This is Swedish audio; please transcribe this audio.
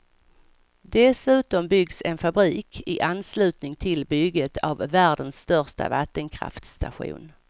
Dessutom byggs en fabrik i anslutning till bygget av världens största vattenkraftstation.